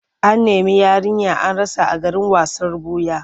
An nemi yarinya an rasa a garin wasan ɓuya.